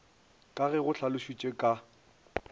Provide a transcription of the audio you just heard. ka ge go hlalošitšwe ka